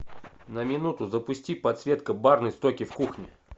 на минуту запусти подсветка барной стойки в кухне